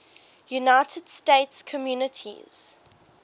united states communities